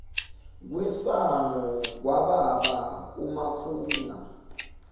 kwesango kwababa umakhunga